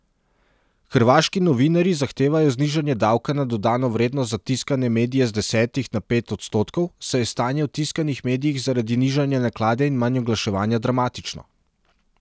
Hrvaški novinarji zahtevajo znižanje davka na dodano vrednost za tiskane medije z desetih na pet odstotkov, saj je stanje v tiskanih medijih zaradi nižanja naklade in manj oglaševanja dramatično.